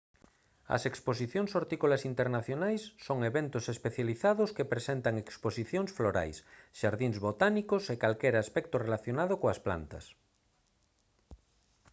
as exposición hortícolas internacionais son eventos especializados que presentan exposicións florais xardíns botánicos e calquera aspecto relacionado coas plantas